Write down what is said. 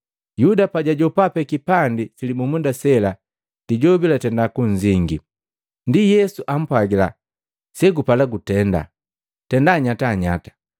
Yuda pajwajopa pee kipandi silibumunda sela, Lijobi latenda kunzingi. Ndi Yesu ampwagila, “Segupala kutenda, tenda nyatanyata!”